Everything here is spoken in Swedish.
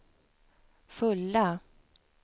fulla